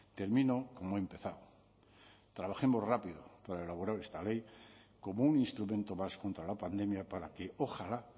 termino como he empezado trabajemos rápido para elaborar esta ley como un instrumento más contra la pandemia para que ojalá